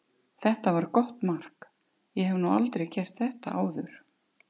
Þetta var gott mark, ég hef nú aldrei gert þetta áður.